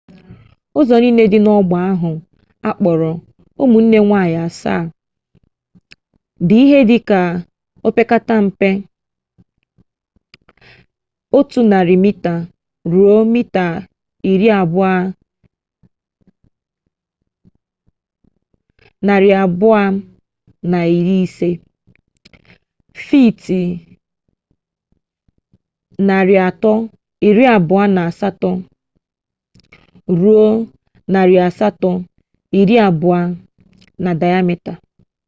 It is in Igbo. ụzọ niile dị n'ọgba ahụ a kpọrọ ụmụnne nwanyị asaa” dị ihe dịka opekatampe 100 mita ruo mita 250 fiiti 328 ruo 820 na dayamita